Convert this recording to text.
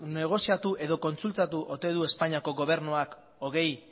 negoziatu edo kontsultatu ote du espainiako gobernuak hogei